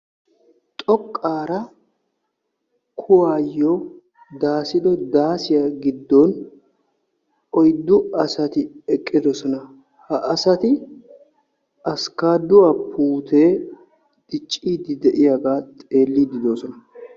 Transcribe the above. xoqaara kuwaayo daasido daaasiya giddon oyddu asati eqqidosona. Ha asati askaduwaa puute diccidi de'iyagga xeelliidi de'oosona..